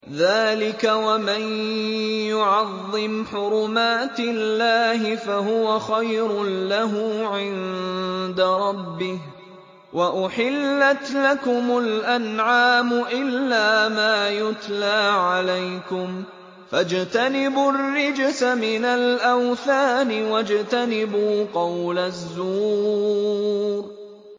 ذَٰلِكَ وَمَن يُعَظِّمْ حُرُمَاتِ اللَّهِ فَهُوَ خَيْرٌ لَّهُ عِندَ رَبِّهِ ۗ وَأُحِلَّتْ لَكُمُ الْأَنْعَامُ إِلَّا مَا يُتْلَىٰ عَلَيْكُمْ ۖ فَاجْتَنِبُوا الرِّجْسَ مِنَ الْأَوْثَانِ وَاجْتَنِبُوا قَوْلَ الزُّورِ